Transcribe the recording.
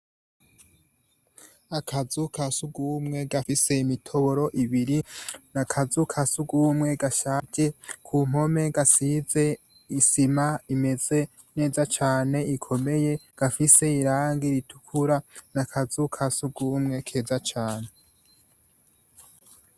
Akazugu ka sugumwe gafise imitoboro ibiri n'akazu ka sugumwe gashaje ku mpome gasize isima imeze neza cane ikomeye, gafise irangi ritukura n'akazu ka sugumwe keza cane .